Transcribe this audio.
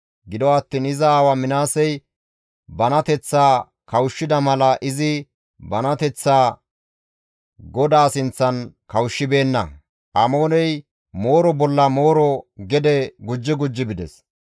Gido attiin iza aawa Minaasey banateththaa kawushshida mala izi banateththaa GODAA sinththan kawushshibeenna; Amooney mooro bolla mooro gede gujji gujji bides.